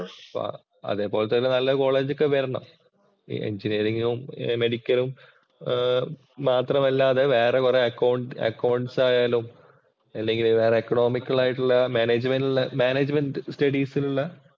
അപ്പൊ അതെപോലത്തെ നല്ല കോളേജ് ഒക്കെ വരണം. എഞ്ചിനിയറിംഗും, മെഡിക്കലും ആഹ് മാത്രമല്ലാതെ വേറെ കൊറേ അക്കൌ അക്കൌണ്ട്സ് ആയാലും, അല്ലെങ്കില്‍ എക്കോണമിക്കല്‍ ആയിട്ടുള്ള മാനേജ്മെന്‍റില്‍ മാനേജ്മെന്‍റ് സ്റ്റഡീസിലുള്ള